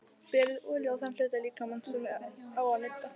Berið olíu á þann hluta líkamans sem á að nudda.